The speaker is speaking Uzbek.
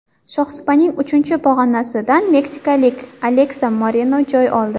Shohsupaning uchinchi pog‘onasidan meksikalik Aleksa Moreno joy oldi.